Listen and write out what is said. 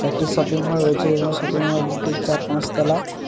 একটি shopping mall রয়েছে এবং শপিং মল টি চার পাঁচ তলা ।